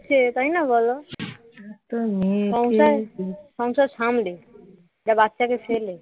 একটা বাচ্চাকে ফেলে